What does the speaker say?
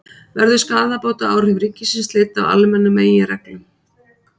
Verður skaðabótaábyrgð ríkisins leidd af almennum meginreglum?